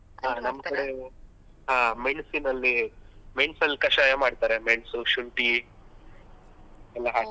ಕಡೆ ಹಾ ಮೆಣ್ಸಿನಲ್ಲಿ ಮೆಣಸಲ್ಲಿ ಕಷಾಯ ಮಾಡ್ತಾರೆ ಮೆಣ್ಸು ಶುಂಠಿ ಎಲ್ಲ ಹಾಕಿ.